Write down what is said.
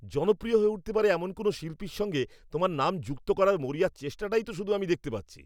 জনপ্রিয় হয়ে উঠতে পারে এমন কোনও শিল্পীর সঙ্গে তোমার নাম যুক্ত করার মরিয়া চেষ্টাটাই তো শুধু আমি দেখতে পাচ্ছি।